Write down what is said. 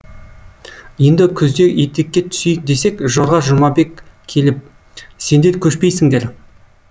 енді күзде етекке түсейік десек жорға жұмабек келіп сендер көшпейсіңдер